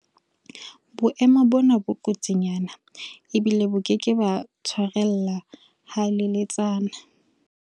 Boemo bona bo kotsinyana ebile bo ke ke ba tshwarella haleletsana.